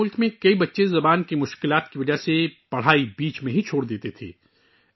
ہمارے ملک میں بہت سے بچے زبان کی مشکل کی وجہ سے درمیان میں پڑھائی چھوڑ دیتے تھے